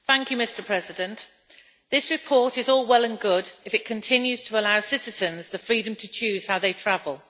Mr President, this report is all well and good if it continues to allow citizens the freedom to choose how they travel.